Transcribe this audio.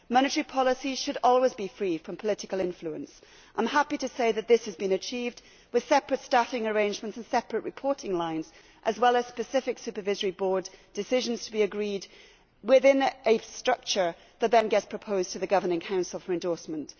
Monetary policy should always be free from political influence, and I am happy to say that this has been achieved with separate staffing arrangements and separate reporting lines, as well as specific supervisory board decisions to be agreed within a structure that will then be proposed to the governing council for endorsement.